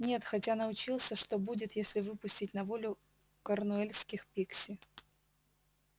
нет хотя научился что будет если выпустить на волю корнуэльских пикси